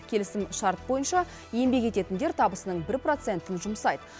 келісімшарт бойынша еңбек ететіндер табысының бір процентін жұмсайды